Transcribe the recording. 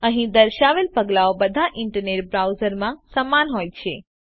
અહીં દર્શાવેલ પગલાંઓ બધા ઇન્ટરનેટ બ્રાઉઝર્સમાં સમાન હોય છે